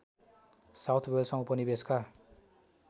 south वेल्समा उपनिवेशको